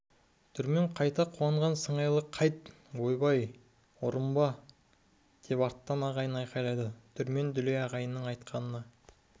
дүрмен қайта қуанған сыңайлы қайт ойбай ұрынба сойқандыға деп арттан ағайын айқайлады дүрмен дүлей ағайынның айтқанына